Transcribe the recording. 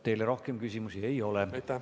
Teile rohkem küsimusi ei ole.